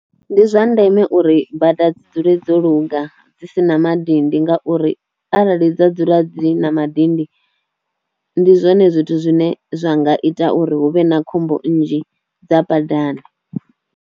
Ndi zwa ndeme uri bada dzi dzule dzo luga dzi si na madindi ngauri arali dza dzula dzi na madindi ndi zwone zwithu zwine zwa nga ita uri hu vhe na khombo nnzhi dza badani.